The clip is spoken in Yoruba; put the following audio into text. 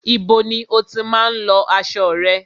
Ibo ni o tí má ń lọ aṣo rẹ?